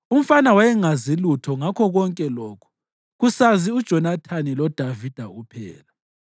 (Umfana wayengazi lutho ngakho konke lokhu; kusazi uJonathani loDavida kuphela.)